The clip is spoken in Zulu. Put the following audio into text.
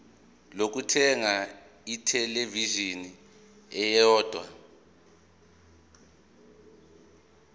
lokuthenga ithelevishini eyodwa